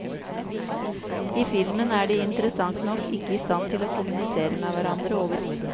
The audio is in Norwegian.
I filmen er de interessant nok ikke i stand til å kommunisere med hverandre overhodet.